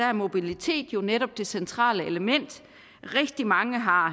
er mobilitet jo netop det centrale element rigtig mange har